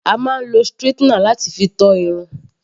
A máa ń lo straightener láti fi to Irun.